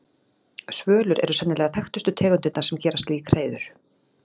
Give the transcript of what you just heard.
Svölur eru sennilega þekktustu tegundirnar sem gera slík hreiður.